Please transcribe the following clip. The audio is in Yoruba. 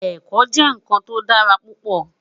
Èkò jè nkán tó dàrá púpò